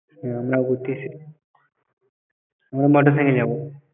হ্যাঁ আমরা ঘুরতে এসেছি আমরা motorcycle এ যাব।